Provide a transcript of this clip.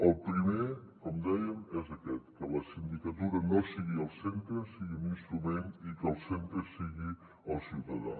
el primer com dèiem és aquest que la sindicatura no sigui el centre sigui un instrument i que el centre sigui el ciutadà